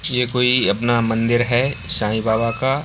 ये कोई अपना मंदिर है साईं बाबा का।